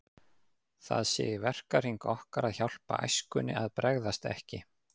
Það sé í verkahring okkar að hjálpa æskunni að bregðast ekki.